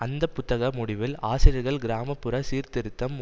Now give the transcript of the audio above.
அந்தப்புத்தக முடிவில் ஆசிரியர்கள் கிராம புற சீர்திருத்தம்